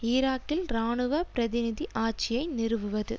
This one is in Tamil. ஈராக்கில் இராணுவ பிரதிநிதி ஆட்சியை நிறுவுவது